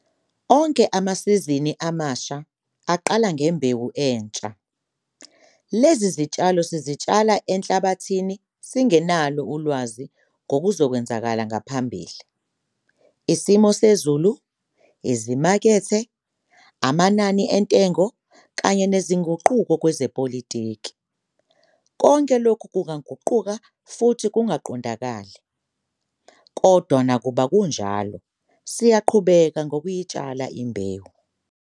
ONKE AMASIZINI AMASHA AQALA NGEMBEWU ENTSHA. LEZI ZITSHALO SIZITSHALA ENHLABATHINI SINGENALO ULWAZI NGOKUZOKWENZEKA NGAPHAMBILI. ISIMO SEZULU, IZIMAKETHE, AMANANI ENTENGO KANYE NEZINGUQUKO KWEZEPOLITIKI, KONKE LOKHU KUNGAGUQUKA FUTHI KUNGAQONDAKALI. KODWA NAKUBA KUNJALO SIYAQHUBEKA NOKUYITSHALA IMBEWU.